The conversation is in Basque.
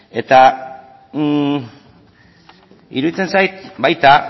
ezta eta iruditzen baita